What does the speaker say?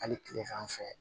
Hali tilegan fɛ